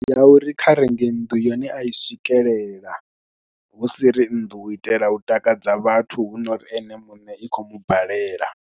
Ndi ya uri kha renge nnḓu ine a i swikelela hu si ri nnḓu u itela u takadza vhathu hu no ri ene muṋe i khou mubalela.